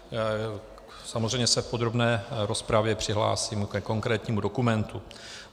Samozřejmě se v podrobné rozpravě přihlásím ke konkrétnímu dokumentu.